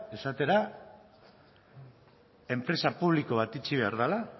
esatera enpresa publiko bat itxi behar dela